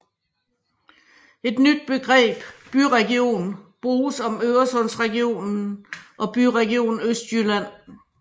Et nyt begreb byregion bruges om Øresundsregionen og Byregion Østjylland